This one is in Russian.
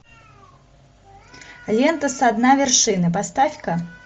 лента со дна вершины поставь ка